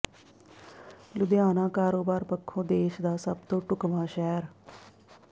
ਲੁਧਿਆਣਾ ਕਾਰੋਬਾਰ ਪੱਖੋਂ ਦੇਸ਼ ਦਾ ਸਭ ਤੋਂ ਢੁਕਵਾਂ ਸ਼ਹਿਰ